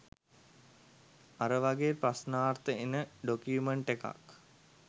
අර වාගේ ප්‍රශ්නාර්ථ එන ඩොකියුමන්ට් එකක්